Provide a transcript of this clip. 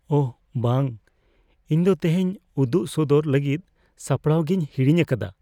ᱳᱦ ᱵᱟᱝ! ᱤᱧ ᱫᱚ ᱛᱮᱦᱮᱧ ᱩᱫᱩᱜ ᱥᱚᱫᱚᱨ ᱞᱟᱹᱜᱤᱫ ᱥᱟᱯᱲᱟᱜᱤᱧ ᱦᱟᱹᱲᱤᱧ ᱟᱠᱟᱫᱟ ᱾